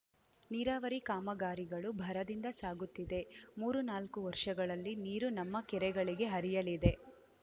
ನೀರಾವರಿ ಕಾಮಗಾರಿಗಳು ಭರದಿಂದ ಸಾಗುತ್ತಿದೆ ಮೂರುನಾಲ್ಕು ವರ್ಷಗಳಲ್ಲಿ ನೀರು ನಮ್ಮ ಕೆರೆಗಳಿಗೆ ಹರಿಯಲಿದೆ